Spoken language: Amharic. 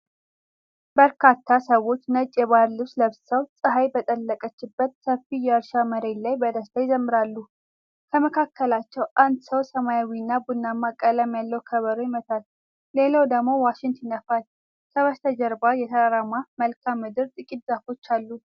በርካታ ሰዎች ነጭ የባህል ልብስ ለብሰው፣ ፀሐይ በጠለቀችበት ሰፊ የእርሻ መሬት ላይ በደስታ ይዘምራሉ። ከመካከላቸው አንድ ሰው ሰማያዊና ቡናማ ቀለም ያለው ከበሮ ይመታል፣ ሌላው ደግሞ ዋሽንት ይነፋል። ከበስተጀርባ የተራራማ መልክዓ ምድርና ጥቂት ዛፎች አሉ።